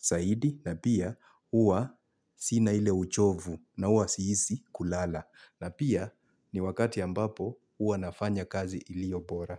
zaidi na pia uwa sina ile uchovu na uwa siisi kulala. Na pia ni wakati ambapo uwa nafanya kazi ilio bora.